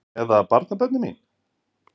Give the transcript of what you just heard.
Eða barnabörnin mín?